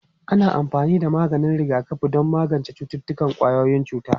Ana amfani da maganin rigakafi don magance cututtukan ƙwayoyin cuta.